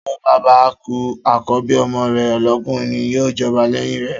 Tí ọba bá kú, àkọ́bí ọmọ rè lọkùnrin ni yíò jọba lẹ́yìn rè